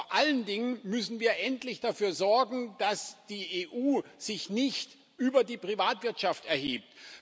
Vor allen Dingen müssen wir endlich dafür sorgen, dass sich die EU nicht über die Privatwirtschaft erhebt.